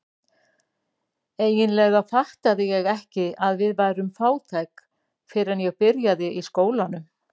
Eiginlega fattaði ég ekki að við værum fátæk fyrr en ég byrjaði í skólanum.